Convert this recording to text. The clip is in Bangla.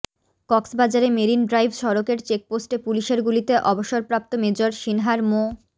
কক্সবাজারে মেরিন ড্রাইভ সড়কের চেকপোস্টে পুলিশের গুলিতে অবসরপ্রাপ্ত মেজর সিনহার মো